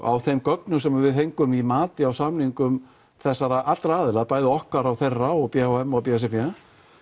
á þeim gögnum sem við fengum í mati á samningum þessarar allra aðila bæði okkar og þeirra og b h m og b s r b